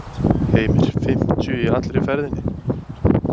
Heimir: Fimmtíu í allri ferðinni?